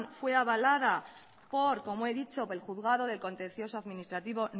fue avalada por como he dicho el juzgado de contencioso administrativo